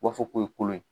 U b'a fɔ ko ye kolo ye